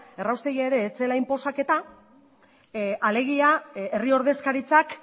erraustegia ere ez zela inposaketa alegia herri ordezkaritzak